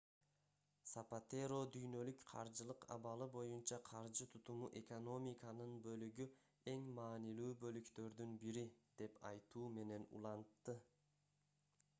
сапатеро дүйнөлүк каржылык абалы боюнча каржы тутуму экономиканын бөлүгү эң маанилүү бөлүктөрдүн бири деп айтуу менен улантты